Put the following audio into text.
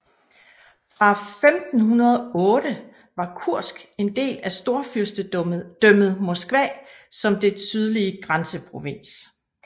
Fra 1508 var Kursk en del af Storfyrstedømmet Moskva som dets sydlige grænseprovins